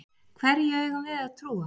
Hverju eigum við að trúa?